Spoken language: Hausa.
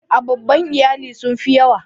A da babban iyali sun fi yawa.